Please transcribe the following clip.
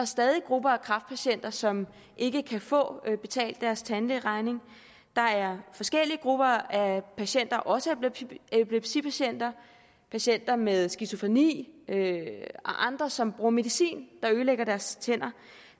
stadig grupper af kræftpatienter som ikke kan få betalt deres tandlægeregning der er forskellige grupper af patienter også epilepsipatienter patienter med skizofreni og andre patienter som bruger medicin der ødelægger deres tænder